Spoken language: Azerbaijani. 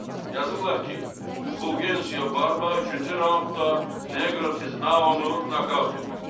Yazıblar ki, Fulgensia Barba üçüncü raundda Neqro Tiznaonu nokaut edib.